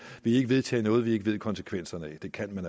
i ikke vedtage noget vi ikke ved konsekvenserne af det kan man